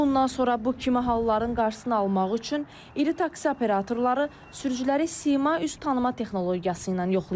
Bundan sonra bu kimi halların qarşısını almaq üçün iri taksi operatorları sürücüləri sima üz tanıma texnologiyası ilə yoxlayacaq.